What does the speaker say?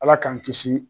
Ala k'an kisi